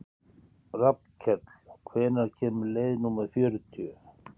Rafnkell, hvenær kemur leið númer fjörutíu?